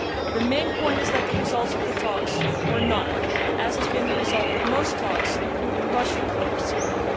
The main point is that the results of the talks were none, as has been the result with most talks including Russia over Syria.